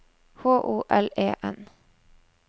H O L E N